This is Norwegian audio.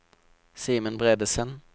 Simen Bredesen